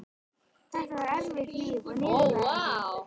Þetta var erfitt líf og niðurlægjandi.